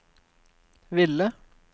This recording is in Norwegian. ville